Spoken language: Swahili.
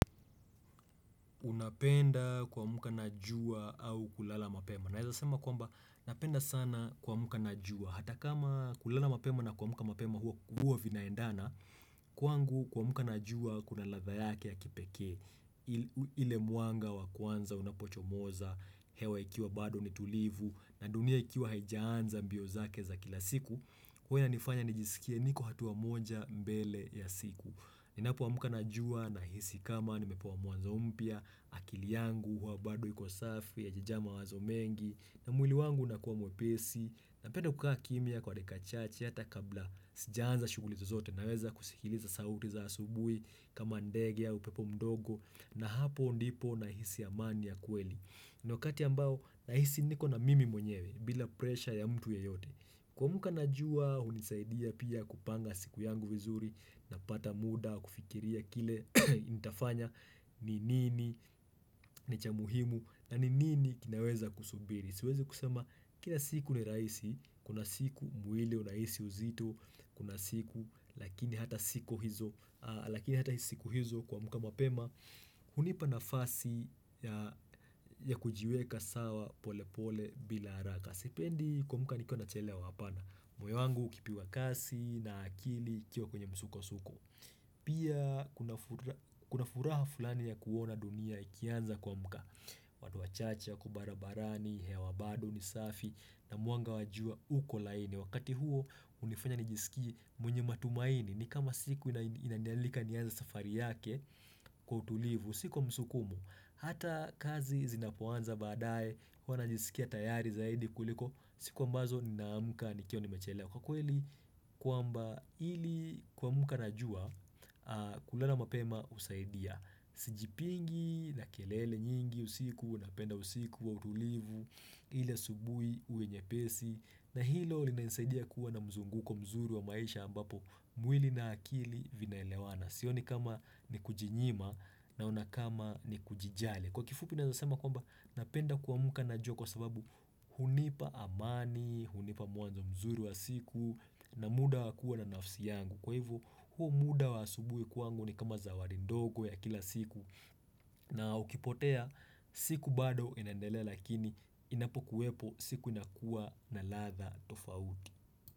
Napenda kuamka na jua au kulala mapema Naeza sema kwamba napenda sana kuamka na jua hata kama kulala mapema na kuamka mapema huwa vinaendana Kwangu kuamka na jua kuna ladha yake ya kipekee ile mwanga wa kwanza unapochomoza hewa ikiwa bado ni tulivu na dunia ikiwa haijaanza mbio zake za kila siku huwa inanifanya nijiskie niko hatua moja mbele ya siku Ninapoamka na jua nahisi kama nimepewa mwanzo mpya, akili yangu, huwa bado iko safi, haijajaa mawazo mengi, na mwili wangu unakuwa mwepesi, napenda kukaa kimya kwa dakika chache, hata kabla sijaanza shughuli zozote naweza kusikiliza sauti za asubuhi, kama ndege, au upepo mdogo, na hapo ndipo na hisi amani ya kweli. Ni wakati ambao nahisi niko na mimi mwenyewe bila presha ya mtu yeyote. Kuamka na jua hunisaidia pia kupanga siku yangu vizuri na kupata muda wa kufikiria kile nitafanya ni nini, ni cha muhimu na ni nini kinaweza kusubiri. Siwezi kusema, kila siku ni rahisi, kuna siku mwili unahisi uzito, kuna siku, lakini hata siku hizo, lakini hata siku hizo kuamka mapema. Hunipa nafasi ya kujiweka sawa pole pole bila haraka. Sipendi kuamka nikiwa nachelewa hapana, moyo wangu ukipigwa kasi na akili ikiwa kwenye msukosuko. Pia, kuna furaha fulani ya kuona dunia ikianza kuamka. Watu wachache, wako barabarani, hewa bado ni safi, na mwanga wa jua uko laini Wakati huo hunifanya nijiskie mwenye matumaini ni kama siku inanialika nianze safari yake kwa utulivu sio kwa msukumo, hata kazi zinapoanza baadaye huwa najiskia tayari zaidi kuliko siku ambazo ninaamka nikiwa nimechelewa Kwa kweli kwamba ili kuamka na jua kulala mapema husaidia Sijipingi na kelele nyingi usiku huwa napenda usiku wa utulivu ili asubuhi uwe nyepesi na hilo linanisaidia kuwa na mzunguko mzuri wa maisha ambapo mwili na akili vinaelewana Sioni kama ni kujinyima naona kama ni kujijali Kwa kifupi naeza sema kwamba napenda kuamka na jua kwa sababu hunipa amani, hunipa mwanzo mzuri wa siku na muda wa kuwa na nafsi yangu Kwa hivyo huo muda wa asubuhi kwangu ni kama zawadi ndogo ya kila siku na ukipotea siku bado inaendelea lakini inapokuwepo siku inakuwa na ladha tofauti.